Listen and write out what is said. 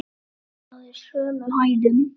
Hún náði sömu hæðum!